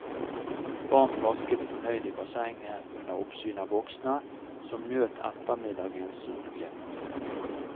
Barn plasket fornøyd i bassenget under oppsyn av voksne, som nøt ettermiddagens solglimt.